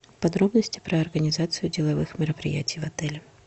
подробности про организацию деловых мероприятий в отеле